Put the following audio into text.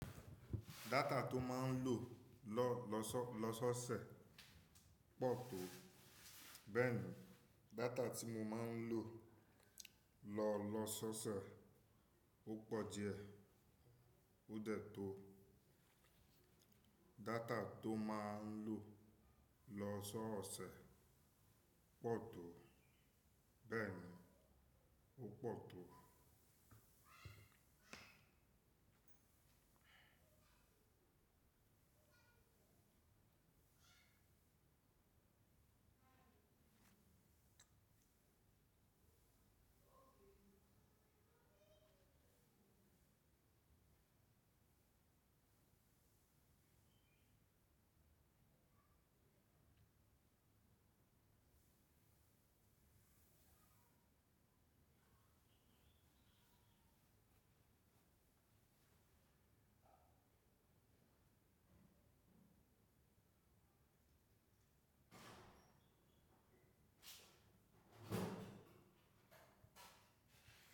Data tó máa ń lò lọ sọ́ọ̀sẹ̀ pọ̀ tó. Bẹ́ẹ̀ni, data tí mo máa ń lò lọ sọ́ọ̀sẹ̀ ó pọ̀ díẹ̀. Ó dẹ̀ tó. Data tó máa ń lò lọ sọ́ọ̀sẹ̀ pọ̀ tó. Bẹ́ẹ̀ni, ó pọ̀ tó.